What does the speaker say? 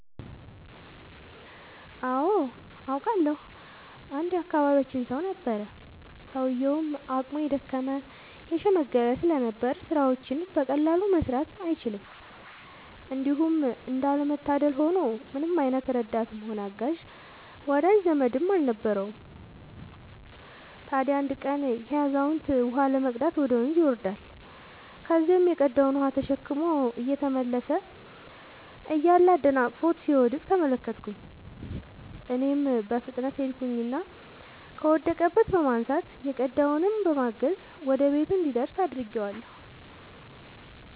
አዎ አውቃለሁ። አንድ የአካባቢያችን ሰው ነበረ፤ ሰውዬውም አቅሙ የደከመ የሽምገለ ስለነበር ስራዎችን በቀላሉ መስራት አይችልም። እንዲሁም እንዳለ መታደል ሆኖ ምንም አይነት ረዳትም ሆነ አጋዥ ወዳጅ ዘመድም የለውም ነበር። ታዲያ አንድ ቀን ይሄ አዛውንት ውሃ ለመቅዳት ወደ ወንዝ ይወርዳል። ከዚያም የቀዳውን ውሃ ተሸክሞ እየተመለሰ እያለ አደናቅፎት ሲወድቅ ተመለከትኩኝ እኔም በፍጥነት ሄድኩኝና ከወደቀበት በማንሳት የቀዳውንም በማገዝ ወደ ቤቱ እንዲደርስ አድርጌአለሁ።